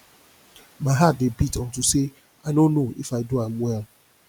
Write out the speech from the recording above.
my heart dey beat unto say i no know if i do am well